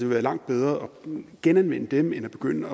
være langt bedre at genanvende dem end at begynde